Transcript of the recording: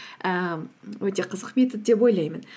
ііі өте қызық метод деп ойлаймын